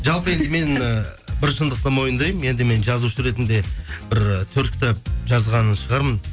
жалпы енді мен і бір шындықты мойындаймын енді мен жазушы ретінде бір төрт кітап жазған шығармын